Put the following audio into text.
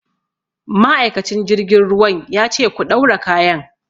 Ma'aikacin jirgin ruwan ya ce 'Ku ɗaura kayan'!